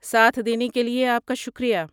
ساتھ دینے کے لیے آپ کا شکریہ۔